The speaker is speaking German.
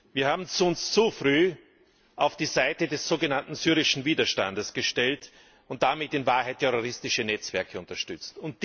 Wir haben uns zu früh auf die Seite des sogenannten syrischen Widerstands gestellt und damit in Wahrheit terroristische Netzwerke unterstützt.